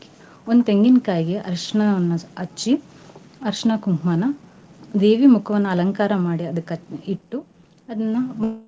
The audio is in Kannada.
ಒಂದ್ ತೆಂಗಿನ್ ಕಾಯಿಗೆ ಅರ್ಶನವನ್ನ ಹಚ್ಚಿ ಅರ್ಶನಾ ಕುಂಕ್ಮಾನ ದೇವಿ ಮುಖವನ್ನಅಲಂಕಾರಾ ಮಾಡಿ ಅದ್ಕ ಇಟ್ಟು ಅದ್ನ .